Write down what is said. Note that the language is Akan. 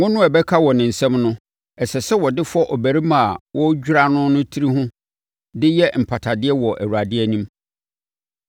Ngo no a ɛbɛka wɔ ne nsam no, ɛsɛ sɛ ɔde fɔ ɔbarima a wɔredwira no no tiri ho de yɛ mpatadeɛ wɔ Awurade anim.